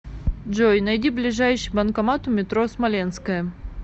джой найди ближайший банкомат у метро смоленская